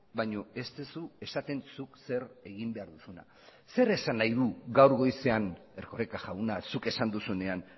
baino ez duzu esaten zuk zer egin behar duzuna zer esan nahi du gaur goizean erkoreka jauna zuk esan duzunean